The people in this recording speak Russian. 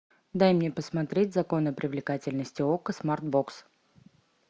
дай мне посмотреть законы привлекательности окко смарт бокс